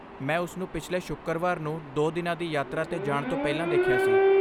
ਮੈਂ ਉਸ ਨੂੰ ਪਿਛਲੇ ਸ਼ੁੱਕਰਵਾਰ ਨੂੰ ਦੋ ਦਿਨਾਂ ਦੀ ਯਾਤਰਾ 'ਤੇ ਜਾਣ ਤੋਂ ਪਹਿਲਾਂ ਦੇਖਿਆ ਸੀ।